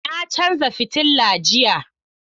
Na canza fitilla jiya.